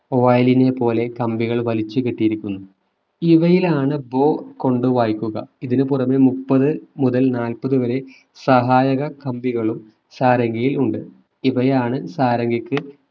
violin നെ പോലെ കമ്പികൾ വരെ വലിച്ചു കെട്ടിയിരിക്കുന്നു ഇവയിലാണ് bow കൊണ്ട് വായിക്കുക ഇതിനു പുറമേ മുപ്പതു മുതൽ നാൽപതു വരെ സഹായക കമ്പികളും സാരംഗികയിൽ ഉണ്ട് ഇവയാണ് സാരംഗിക്ക്